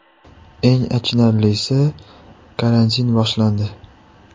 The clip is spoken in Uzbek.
Eng achinarlisi, karantin boshlandi.